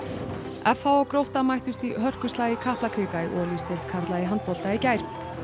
f h og Grótta mættust í hörkuslag í Kaplakrika í Olís deild karla í handbolta í gær